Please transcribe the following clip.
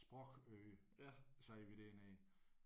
Sprogøre siger vi dernede